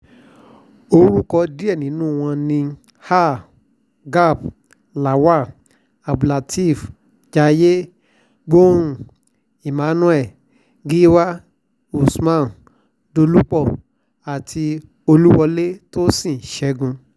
orúkọ díẹ̀ nínú wọn ni ha gap lawal abdulateef jaiye gbọ̀hàn emmanuel giwa usman dolupọ àti ọláwálẹ̀ tósìn ṣẹ́gun